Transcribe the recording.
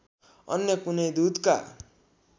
अन्य कुनै दूतका